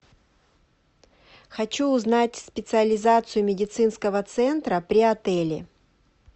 хочу узнать специализацию медицинского центра при отеле